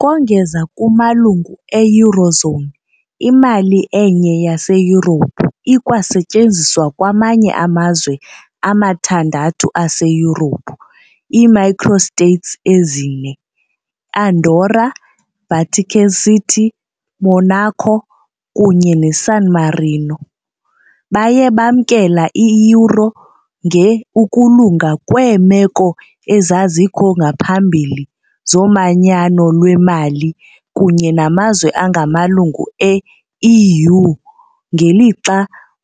kongeza kumalungu e-eurozone, imali enye yaseYurophu ikwasetyenziswa kwamanye amazwe amathandathu aseYurophu, i -microstates ezine, Andorra, Vatican City, Monaco kunye neSan Marino, baye bamkela i-euro nge ukulunga kweemeko ezazikho ngaphambili zomanyano lwemali kunye namazwe angamalungu e-EU, ngelixa